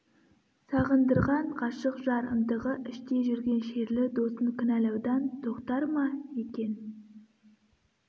сағындырған ғашық жар ынтығы іште жүрген шерлі досын кінәлаудан тоқтар ма екен